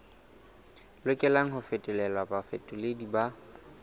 lokelang ho fetolelwa bafetoleding ba